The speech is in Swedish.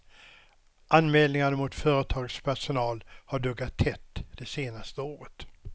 Anmälningarna mot företagets personal har duggat tätt det senaste året.